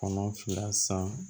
Kɔnɔ fila san